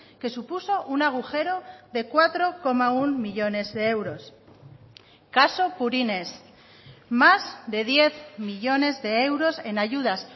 que supuso un agujero de cuatro coma uno millónes de euros caso purines más de diez millónes de euros en ayudas